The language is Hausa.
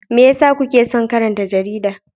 Me yasa kuke son karanta jarida?